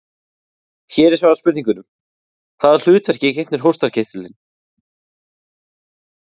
Hér er svarað spurningunum: Hvaða hlutverki gegnir hóstarkirtillinn?